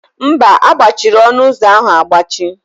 Mba, a gbachiri ọnụ ụzọ ahụ agbachi.